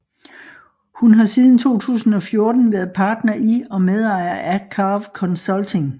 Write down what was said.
Hun har siden 2014 været partner i og medejer af Carve Consulting